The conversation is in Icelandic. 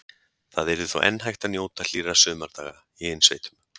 Þá yrði þó enn hægt að njóta hlýrra sumardaga í innsveitum.